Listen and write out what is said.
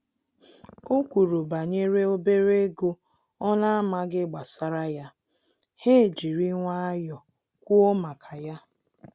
O kwuru banyere obere ego ọ na-amaghị gbasara ya, ha ejiri nwayọọ kwụọ maka ya